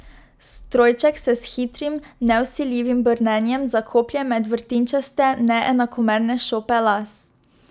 Strojček se s hitrim, nevsiljivim brnenjem zakoplje med vrtinčaste, neenakomerne šope las.